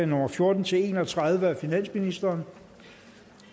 nummer fjorten til en og tredive af finansministeren